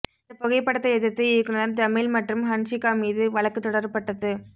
இந்தப் புகைப்படத்தை எதிர்த்து இயக்குநர் ஜமீல் மற்றும் ஹன்ஷிகா மீது வழக்கு தொடரப்பட்டது